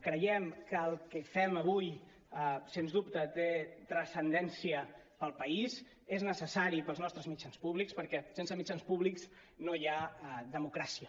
creiem que el que fem avui sens dubte té transcendència per al país és necessari per als nostres mit·jans públics perquè sense mitjans públics no hi ha democràcia